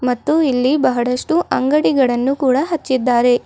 ಮತ್ತು ಇಲ್ಲಿ ಬಹಳಷ್ಟು ಅಂಗಡಿಗಳನ್ನು ಕೂಡ ಹಚ್ಚಿದ್ದಾರೆ.